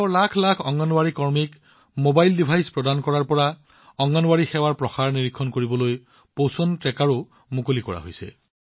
দেশৰ লাখ লাখ অংগনৱাড়ী কৰ্মীক mobile device দিয়াৰ পৰা অংগনৱাড়ী সেৱাৰ প্ৰসাৰ নিৰীক্ষণ কৰিবলৈ পোষণ ট্ৰেকাৰো মুকলি কৰা হৈছে